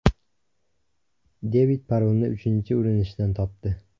Devid parolni uchinchi urinishdan topdi.